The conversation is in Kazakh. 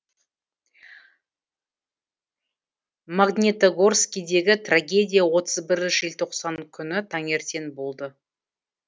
магнитогорскідегі трагедия отыз бірі желтоқсан күні таңертең болды